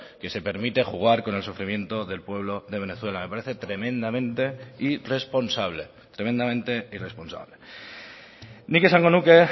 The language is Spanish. que se permite jugar con el sufrimiento del pueblo de venezuela me parece tremendamente irresponsable tremendamente irresponsable nik esango nuke